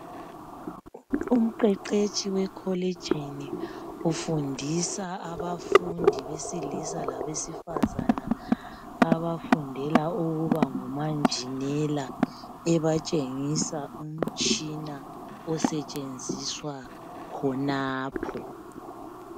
umqeqetshi wekolijini ufundisa abafundi besilisa labesifazana abafundela ukuba ngomanjinela ebatshengisa umtshina osetshenziswa khonapho